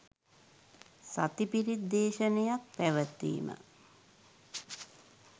සති පිරිත් දේශනයක් පැවැත්වීම